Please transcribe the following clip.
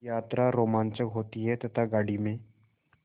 यात्रा रोमांचक होती है तथा गाड़ी में